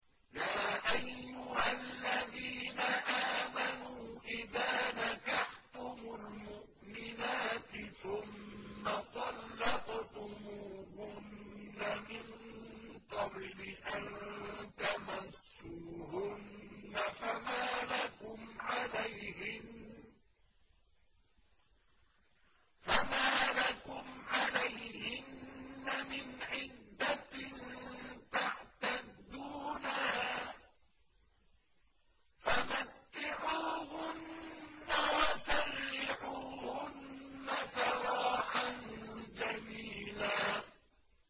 يَا أَيُّهَا الَّذِينَ آمَنُوا إِذَا نَكَحْتُمُ الْمُؤْمِنَاتِ ثُمَّ طَلَّقْتُمُوهُنَّ مِن قَبْلِ أَن تَمَسُّوهُنَّ فَمَا لَكُمْ عَلَيْهِنَّ مِنْ عِدَّةٍ تَعْتَدُّونَهَا ۖ فَمَتِّعُوهُنَّ وَسَرِّحُوهُنَّ سَرَاحًا جَمِيلًا